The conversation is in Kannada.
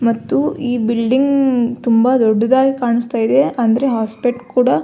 ಮತ್ತು ಈ ಬಿಲ್ಡಿಂಗ್ ತುಂಬ ದೊಡ್ಡದಾಗಿ ಕಾಣಿಸ್ತಿದೆ ಅಂದ್ರೆ ಹಾಸ್ಪೆಟ್ ಕೂಡ --